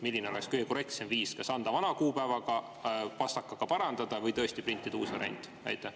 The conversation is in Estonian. Milline oleks kõige korrektsem viis: kas anda üle vana kuupäevaga, seda pastakaga parandada või tõesti printida uus variant?